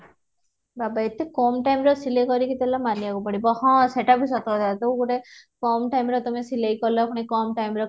ଏତେ କମ time ସିଲେଇ କରିକି ଦେଲା ମାନିବାକୁ ପଡିବ ହଁ ସେଟା ବି ସତ କଥା ତ ଗୋଟେ କାମ time ରେ ତମେ ସିଲେଇ କଲ ପୁଣି କମ time ରେ